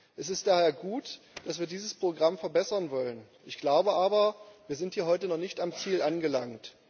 Es ist daher gut, dass wir dieses Programm verbessern wollen. Ich glaube aber, wir sind hier heute noch nicht am Ziel angelangt.